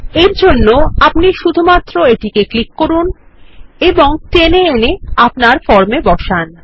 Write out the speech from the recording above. এরজন্য আপনি শুধুমাত্র এটিকে ক্লিক করুন এবং টেনে এনে আপনার ফর্মে বসান